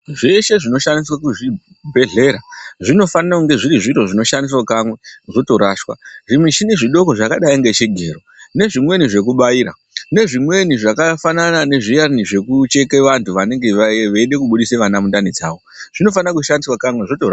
Zveshe zvinoshandiswe muzvibhedhlera zvinofanire kunge zviri zviro zvinoshandiswe kamwe zvotorashwa. Zvimishini zvidoko zvakadayi ngezvigero nezvimweni zvekubaira nezvimweni zvakafanana nezviyani zvekucheke vantu vanenge veide kubudisa vana mundani dzavo zvinofanira kushandiswa kamwe zvotorashwa.